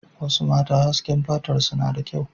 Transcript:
Wasu mata hasken fatarsu na da kyau.